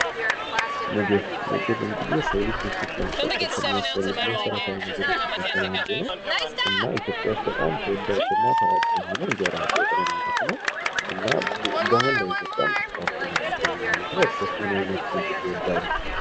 ምግብ ምግብ እንግዲህ የሰው ልጅ በህይወት ለመቀጠል ከሚያስፈልግ መሰረታዊ ነገሮች መካከል አንዱ ነው። እና ኢትዮጵያ ውስጥ በጣም ተወዳጅ እና ታዋቂ የሆነው እንጀራ በወጥ ነው ማለት ነው እና በመላው ኢትዮጵያ ተስፋፍቶ ነው የሚገኘው ማለት ነው። እርሶስ ምን ዓይነት ምግብ ይወዳሉ?